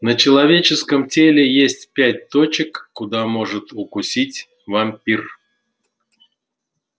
на человеческом теле есть пять точек куда может укусить вампир